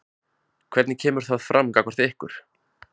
Hvernig kemur það fram gagnvart ykkur?